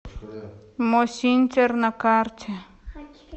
мосинтер на карте